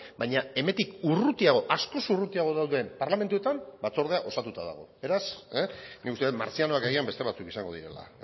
baina hemendik urrutiago askoz urrutiago dauden parlamentuetan batzordea osatuta dago beraz nik uste dut martzianoak agian beste batzuk izango direla